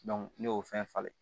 ne y'o fɛn falen